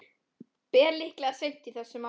Ber líklega seint í þessum mánuði.